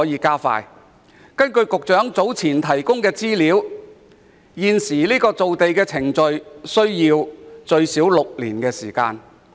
根據局長早前提供的資料，現時造地程序需時最少6年。